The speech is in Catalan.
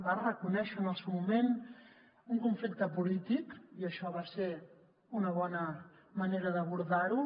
va reconèixer en el seu moment un conflicte polític i això va ser una bona manera d’abordar ho